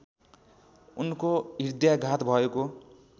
उनको हृदयाघात भएको